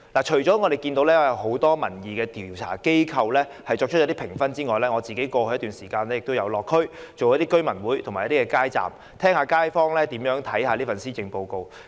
除了有很多民意調查機構給予評分外，我在過去一段時間也曾到地區舉行居民大會和擺街站，聆聽街坊如何評價這份施政報告。